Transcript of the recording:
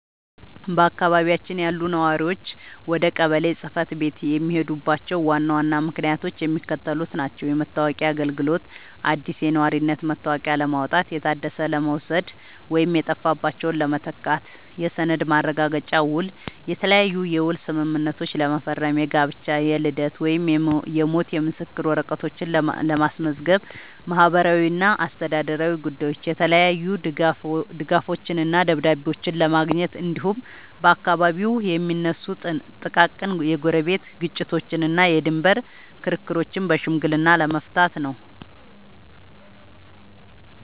በአካባቢያችን ያሉ ነዋሪዎች ወደ ቀበሌ ጽሕፈት ቤት የሚሄዱባቸው ዋና ዋና ምክንያቶች የሚከተሉት ናቸው፦ የመታወቂያ አገልግሎት፦ አዲስ የነዋሪነት መታወቂያ ለማውጣት፣ የታደሰ ለመውሰድ ወይም የጠፋባቸውን ለመተካት። የሰነድ ማረጋገጫና ውል፦ የተለያየ የውል ስምምነቶችን ለመፈረም፣ የጋብቻ፣ የልደት ወይም የሞት ምስክር ወረቀቶችን ለማስመዝገብ። ማህበራዊና አስተዳደራዊ ጉዳዮች፦ የተለያዩ ድጋፎችንና ደብዳቤዎችን ለማግኘት፣ እንዲሁም በአካባቢው የሚነሱ ጥቃቅን የጎረቤት ግጭቶችንና የድንበር ክርክሮችን በሽምግልና ለመፍታት ነው።